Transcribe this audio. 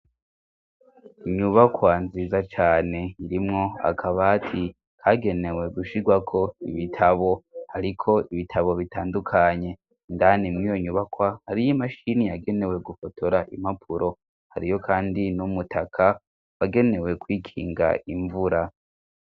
Inyubakwa nziza cane irimwo akabati kagenewe gushigwako ibitabo, hariko ibitabo bitandukanye, indani mw'iyo nyubakwa hariyo imashini yagenewe gufotora impapuro, hariyo kandi n'umutaka wagenewe kwikinga imvura.